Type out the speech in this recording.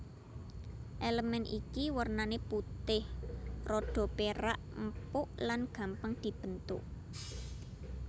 Elemen iki wernané putih rada perak empuk lan gampang dibentuk